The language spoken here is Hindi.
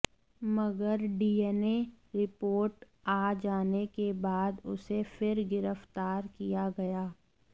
मगर डीएनए रिपोर्ट आ जाने के बाद उसे फिर गिरफ़तार किया गया